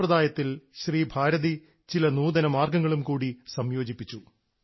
ഈ സമ്പ്രദായത്തിൽ ശ്രീ ഭാരതി ചില നൂതന മാർഗ്ഗങ്ങൾ കൂടി സംയോജിപ്പിച്ചു